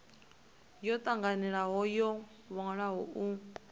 yo tanganelaho yo wanwaho u